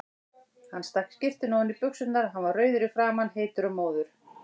Hann stakk skyrtunni ofan í buxurnar, hann var rauður í framan, heitur og móður.